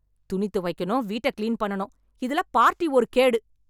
துணி துவைக்கணும், வீட்டை கிளீன் பண்ணனும், இதுல பார்ட்டி ஒரு கேடு.